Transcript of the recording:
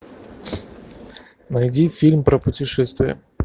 найди фильм про путешествия